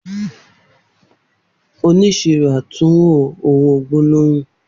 Oniṣiro atunwo owo gbólóhùn.